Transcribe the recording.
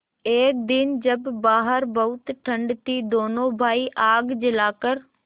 एक दिन जब बाहर बहुत ठंड थी दोनों भाई आग जलाकर